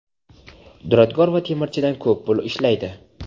duradgor va temirchidan ko‘p pul ishlaydi.